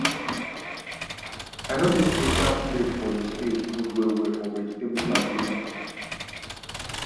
i notice sey sharp blade for the spade good well well for vegetable plantation